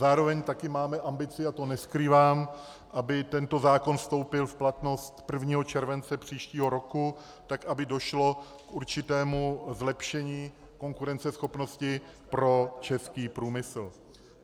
Zároveň taky máme ambici, a to neskrývám, aby tento zákon vstoupil v platnost 1. července příštího roku, tak aby došlo k určitému zlepšení konkurenceschopnosti pro český průmysl.